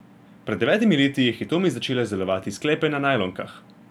Pred devetimi leti je Hitomi začela izdelovati sklepe na najlonkah.